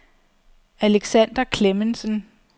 Alexander Klemmensen